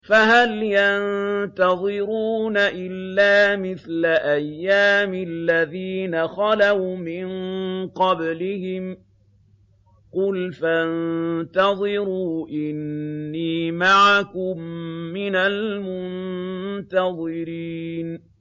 فَهَلْ يَنتَظِرُونَ إِلَّا مِثْلَ أَيَّامِ الَّذِينَ خَلَوْا مِن قَبْلِهِمْ ۚ قُلْ فَانتَظِرُوا إِنِّي مَعَكُم مِّنَ الْمُنتَظِرِينَ